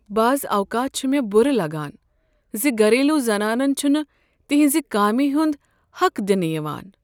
بعض اوقات چُھ مےٚ بُرٕ لگان ز گھریلو زنانن چھنہٕ تہنٛزِ کامہ ہنٛد حق دنہٕ یوان۔